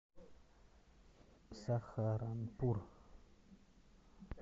сахаранпур